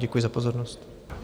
Děkuji za pozornost.